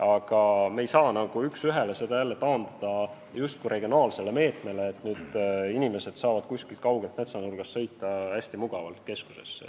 Aga me ei saa seda taandada regionaalsele meetmele, et nüüd inimesed saavad kuskilt kaugelt metsanurgast sõita hästi mugavalt keskusesse.